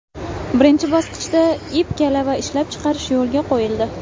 Birinchi bosqichda ip-kalava ishlab chiqarish yo‘lga qo‘yildi.